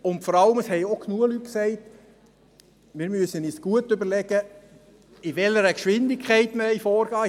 Vor allem haben auch genügend Leute gesagt, dass wir uns gut überlegen müssen, in welcher Geschwindigkeit wir vorgehen wollen.